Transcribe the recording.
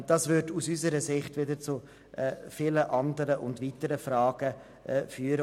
Das würde aus unserer Sicht wieder zu vielen anderen und weiteren Fragen führen.